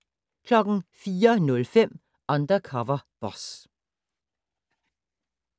04:05: Undercover Boss